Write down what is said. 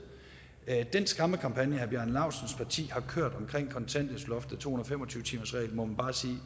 den skræmmekampagne herre bjarne laustsens parti har kørt omkring kontanthjælpsloftet og to hundrede og fem og tyve timersreglen må man bare sige